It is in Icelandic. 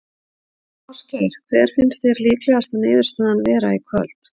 Ásgeir: Hver finnst þér líklegasta niðurstaðan vera í kvöld?